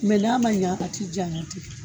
Mɛ n'a ma ɲɛ a t'i janya ten.